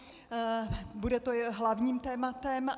Bude to hlavním tématem.